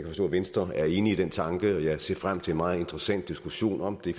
forstå at venstre er enig i den tanke og jeg ser frem til en meget interessant diskussion om det